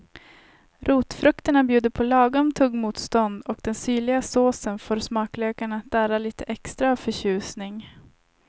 Rotfrukterna bjuder på lagom tuggmotstånd och den syrliga såsen får smaklökarna att darra lite extra av förtjusning.